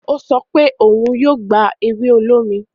o sọ pe òún yóò gba ewe olómi.